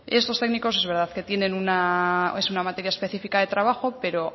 estos técnicos la verdad es que tienen una materia específica de trabajo pero